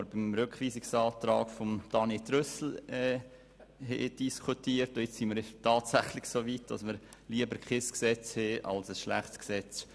Beim Rückweisungsantrag von Grossrat Trüssel haben wir darüber diskutiert, und nun sind wir tatsächlich soweit, dass wir lieber kein Gesetz haben möchten als ein schlechtes.